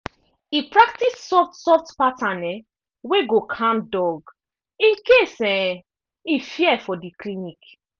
e practice soft soft pattern um wey go calm dog in case um e fear for the clinic.